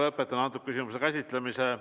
Lõpetan selle küsimuse käsitlemise.